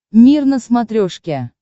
мир на смотрешке